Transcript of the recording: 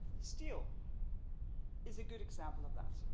Steel is a good example of that.